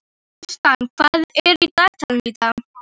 Kristian, hvað er í dagatalinu í dag?